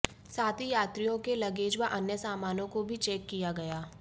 साथ ही यात्रियों के लगेज व अन्य सामानों को भी चेक किया गया